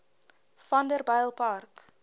vanderbijilpark